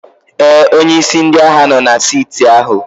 Ee, onye isi ndị agha nọ na saịtị ahụ.